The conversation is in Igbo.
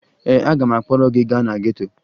Ee, aga m akpọrọ gị gaa na geto